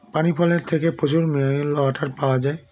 পানি ফলের থেকে প্রচুর mineral Water পাওয়া যায়